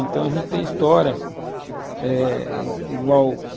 Então a gente tem história eh igual